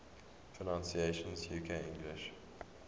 pronunciations uk english